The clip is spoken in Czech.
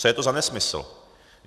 Co je to za nesmysl?